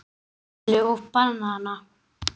Eitt stykki hleðslu og banana.